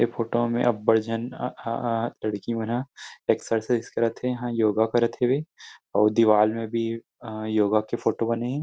ऐ फोटो मे अब बढ़ झन अ-- लड़की मन हा एक्सरसाइज करत थे हाँ योगा करत थे हेवे अऊ दीवाल में भी अ योगा के फोटो बने हे।